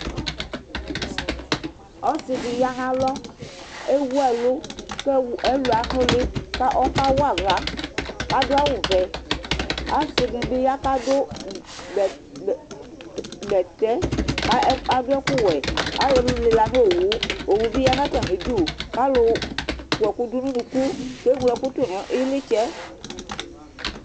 Ɔsidi yanʋ alɔ, ewʋ ɛlʋ, kʋ ɛlʋ anʋli kʋ ɔkawa aɣla Kʋ asdʋ awʋvɛ, asi dinu bi ya kʋ adʋ bɛtɛ kʋ adʋ ɛkʋwɛ lila nʋ owʋ Owʋ bi yanʋ atami idʋ kʋ alʋ kɔɛkʋ dʋnʋ ʋnʋkʋ kʋ eŋlo ɛkʋ tʋnʋ ilitsɛ